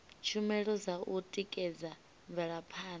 tshumelo dza u tikedza mvelaphanda